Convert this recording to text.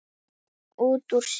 hreytti hann út úr sér.